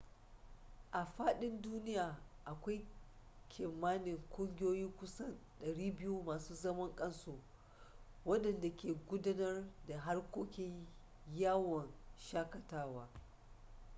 a fadin duniya akwai kimanin ƙungiyoyi kusan 200 masu zaman kansu wadanda ke gudanar da harkokin yawon shaƙatawa